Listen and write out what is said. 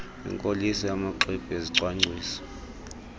kwinkoliso yamaxwebhu ezicwangciso